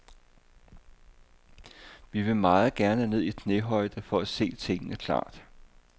Vi vil meget gerne ned i knæhøjde for at se tingene klart.